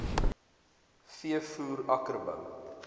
v voer akkerbou